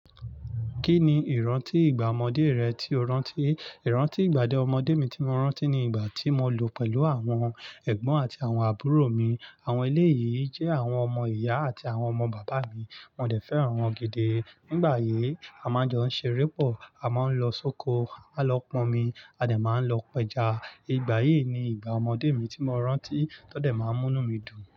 Kí ni ìrántí ìgbà ọmọdé rẹ tí o rántí? Ìrántí ìgbà dé ọmọdé mi tí mo rántí ni ìgbà tí mo lò pẹ̀lú àwọn ẹ̀gbọ́n àti àwọn àbúrò mi. Àwọn eléyìí jẹ́ àwọn ọmọ ìyá àti àwọn ọmọ bàbá mi. Wọ́n dẹ̀ fẹ́ràn wọn gidi. Nígbà yí a máa ń jọ ń ṣeré pọ̀, a máa ń lọ sóko, a lọ p'ọmi a dẹ̀ máa lọ p'ẹja. Ìgbà yìí ni ìgbà ọmọdé mi tí mo rántí tó dẹ̀ máa ń mú mí dùn.